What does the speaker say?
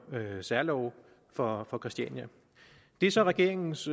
særlove for for christiania det er så regeringens